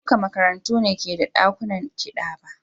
Ba duka makarantu ne ke da dakunan kiɗa ba.